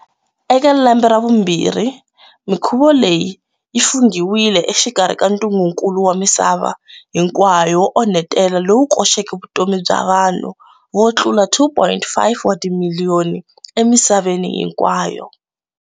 Eka lembe ra vumbirhi, mikhuvo leyi yi funghiwile exikarhi ka ntungukulu wa misava hinkwayo wo onhetela lowu wu koxeke vutomi bya vanhu vo tlula 2.5 wa timiliyoni emisaveni hinkwayo.